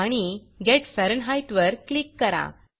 आणि गेट फॅरनहीटवर क्लिक करा